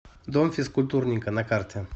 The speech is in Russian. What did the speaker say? дом физкультурника на карте